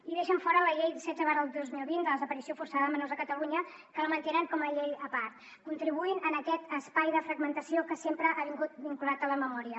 i en deixen fora la llei setze dos mil vint de la desaparició forçada de menors a catalunya que la mantenen com a llei a part contribuint a aquest espai de fragmentació que sempre ha vingut vinculat a la memòria